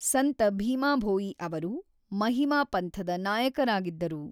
ಸಂತ ಭೀಮಾ ಭೋಯಿ ಅವರು ಮಹಿಮಾ ಪಂಥದ ನಾಯಕರಾಗಿದ್ದರು.